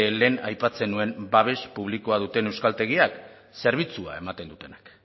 lehen aipatzen nuen babes publikoa duten euskaltegiak zerbitzua ematen dutenak